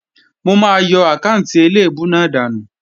Mò máa yọ àkáànti eléèbú náà dànù